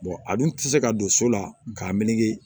a dun tɛ se ka don so la k'a meleke